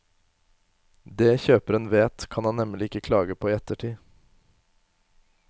Det kjøperen vet, kan han nemlig ikke klage på i ettertid.